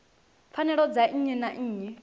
pfanelo dza nnyi na nnyi